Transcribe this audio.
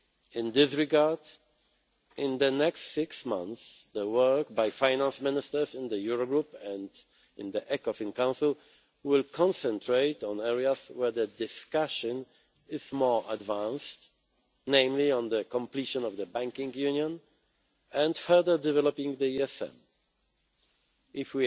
In this regard, in the next six months, the work by Finance Ministers in the Eurogroup and in the Ecofin Council will concentrate on areas where the discussion is more advanced, namely on the completion of the banking union, and further developing the European Social Fund